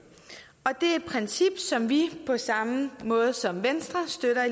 og det er et princip som vi i på samme måde som venstre støtter